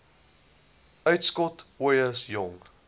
uitskot ooie jong